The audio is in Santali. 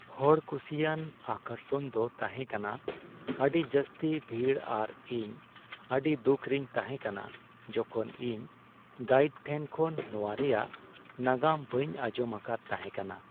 ᱦᱚᱲᱠᱩᱥᱤᱭᱟᱱ ᱟᱠᱚᱨᱥᱚᱱ ᱫᱚ ᱛᱟᱦᱮᱸ ᱠᱟᱱᱟ ᱟᱹᱰᱤ ᱡᱟᱹᱥᱛᱤ ᱵᱷᱤᱲ ᱟᱨ ᱤᱧ ᱟᱹᱰᱤ ᱫᱩᱠᱷ ᱨᱤᱧ ᱛᱟᱦᱮᱸ ᱠᱟᱱᱟ ᱡᱚᱠᱷᱚᱱ ᱤᱧ ᱜᱟᱭᱤᱰ ᱴᱷᱮᱱ ᱠᱷᱚᱱ ᱱᱚᱣᱟ ᱨᱮᱭᱟᱜ ᱱᱟᱜᱟᱢ ᱵᱟᱹᱧ ᱟᱸᱡᱚᱢ ᱟᱠᱟᱫ ᱛᱟᱦᱮᱸ ᱠᱟᱱᱟ ᱾